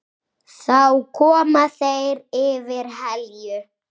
Þá koma þeir yfir Helju.